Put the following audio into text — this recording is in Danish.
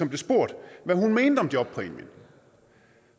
blev spurgt hvad hun mente om jobpræmien